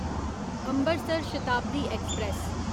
Ambarsar Shatabdi express